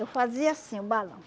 Eu fazia assim, o balão.